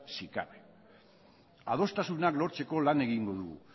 si cabe adostasunak lortzeko lan egingo dugu